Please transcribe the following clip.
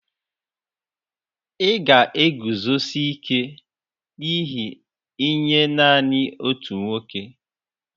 Ị̀ ga-eguzosi ike n'ihe nye nanị otu nwoke?